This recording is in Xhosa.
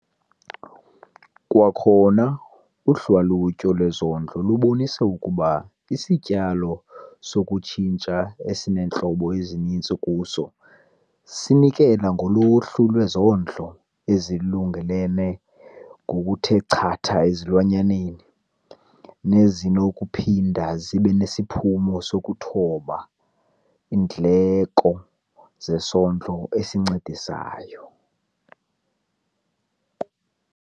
Kwakhona uhlalutyo lwezondlo lubonise ukuba isityalo sokutshintsha esineentlobo ezininzi kuso sinikela ngoluhlu lwezidlo ezilungelelene ngokuthe chatha ezilwanyaneni, nezinokuphinda zibe nesiphumo sokuthoba iindleko zesondlo esincedisayo.